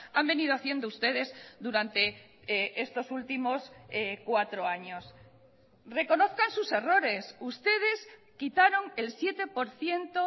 han venido haciendo ustedes durante estos últimos cuatro años reconozcan sus errores ustedes quitaron el siete por ciento